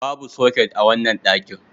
Babu soket a wannan dakin.